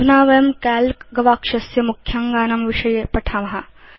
अधुना वयं काल्क गवाक्षस्य मुख्याङ्गानां विषये पठेम